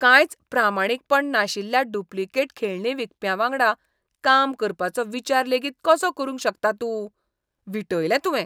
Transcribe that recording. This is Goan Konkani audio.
कांयच प्रामाणीकपण नाशिल्ल्या डुप्लिकेट खेळणीं विकप्यांवांगडा काम करपाचो विचार लेगीत कसो करूंक शकता तूं? विटयलें तुवें.